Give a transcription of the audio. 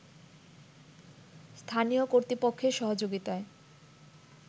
স্থানীয় কর্তৃপক্ষের সহযোগিতায়